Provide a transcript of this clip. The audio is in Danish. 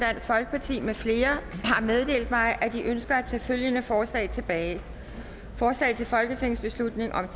med flere har meddelt mig at de ønsker at tage følgende forslag tilbage forslag til folketingsbeslutning om